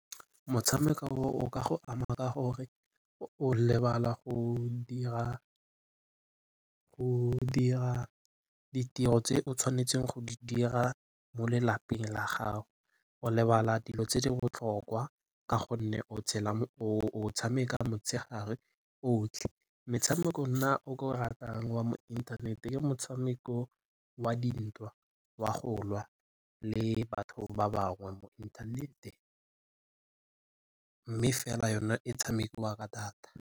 Motshameko o o ka go ama ka gore o lebala go dira ditiro tse o tshwanetseng go di dira mo lelapeng la gago. O lebala dilo tse di botlhokwa ka gonne o tshameka motshegare otlhe. Metshameko nna o ke o ratang wa mo inthanete ke motshameko wa dintwa, wa go lwa le batho ba bangwe mo inthanete mme fela yone e tshamekiwa ka data.